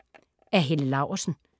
Af Helle Laursen